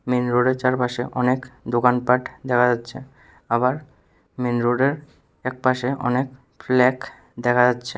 Main রোডের চারপাশে অনেক দোকানপাঠ দেখা যাচ্ছে আবার মেইন রোডের একপাশে অনেক ফ্ল্যাক দেখা যাচ্ছে।